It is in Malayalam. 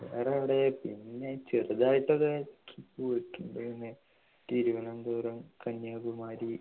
വേറെ എവിടെ പിന്നെ ചെറുതായിട്ടൊരു trip പോയിട്ടുണ്ട് തിരുവനന്തപുരം കന്യാകുമാരി